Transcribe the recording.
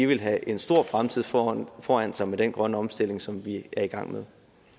vil have en stor fremtid foran foran sig med den grønne omstilling som vi er i gang med